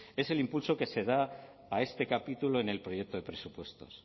es el impulso que se da a este capítulo en el proyecto de presupuestos